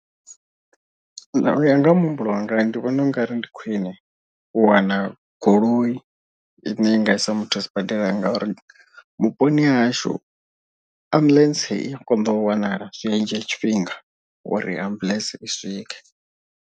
U ya nga ha muhumbulo wanga ndi vhona ungari ndi khwiṋe u wana goloi ine i nga i sa muthu sibadela. Ngauri vhuponi ha hashu ambuḽentse i ya konḓa u wanala zwi dzhia tshifhinga uri ambuḽentse i swike.